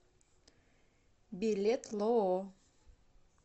билет лоо